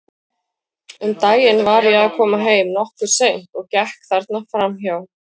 Um daginn var ég að koma heim, nokkuð seint, og gekk þarna fram hjá.